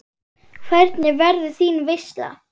Hvernig verður þín veisla?